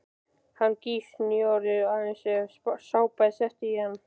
Hann gýs núorðið aðeins ef sápa er sett í hann.